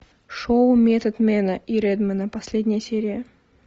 шоу методмена и редмена последняя серия